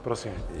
Prosím.